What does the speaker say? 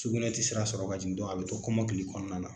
Sugunɛ tɛ sira sɔrɔ ka jigin a bɛ to kɔmɔkili kɔnɔna na.